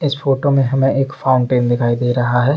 इस फोटो में हमें एक फाउंटेन दिखाई दे रहा है।